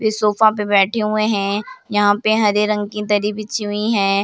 इस सोफा पे बैठे हुए है यहाँ पे हरे रंग की दरी बिछी हुई है।